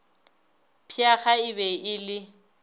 pheega e be e le